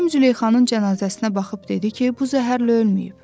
Həkim Züleyxanın cənazəsinə baxıb dedi ki, bu zəhərlə ölməyib.